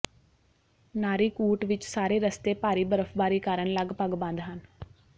ਨਾਰੀਕੂਟ ਵਿਚ ਸਾਰੇ ਰਸਤੇ ਭਾਰੀ ਬਰਫ਼ਬਾਰੀ ਕਾਰਨ ਲਗਪਗ ਬੰਦ ਹਨ